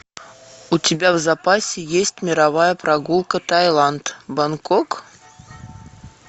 у тебя в запасе есть мировая прогулка таиланд бангкок